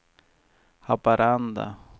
Haparanda